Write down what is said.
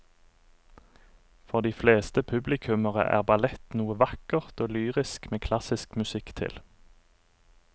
For de fleste publikummere er ballett noe vakkert og lyrisk med klassisk musikk til.